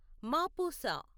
Mapusa